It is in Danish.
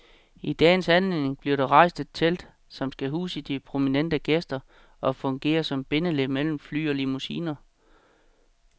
I dagens anledning bliver der rejst et telt, som skal huse de prominente gæster og fungere som bindeled mellem fly og limousiner.